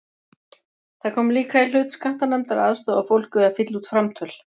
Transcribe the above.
Það kom líka í hlut skattanefndar að aðstoða fólk við að fylla út framtöl.